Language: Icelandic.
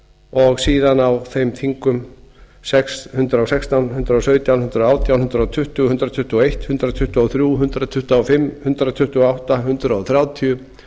og síðan á þeim þingum hundrað og sextán hundrað og sautján hundrað og átján hundrað tuttugu og eitt hundrað tuttugu og þrjú hundrað tuttugu og fimm hundrað tuttugu og átta hundrað þrjátíu